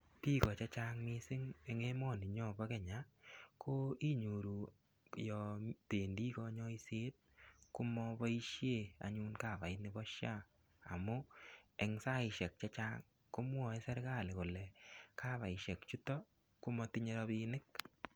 Biik ko chechang mising en emoninyon bo Kenya iniyoru yoon bendi konyoiset komoboishe anyun kavait nebo SHA amun eng saishek chechang komwoe serikali kolee kavaishe chuto komotinye rabinik.